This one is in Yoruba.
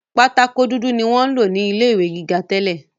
Pátákó dúdú ni wọ́n ń lò ní ilé ìwé gíga tẹ́lẹ̀